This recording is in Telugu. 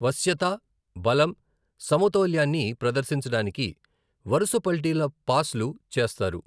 వశ్యత, బలం, సమతౌల్యాన్ని ప్రదర్శించడానికి వరుస పల్టీల పాస్లు చేస్తారు.